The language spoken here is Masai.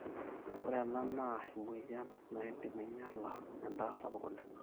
ore ena naa emueyian naidim ainyala endaa sapuk oleng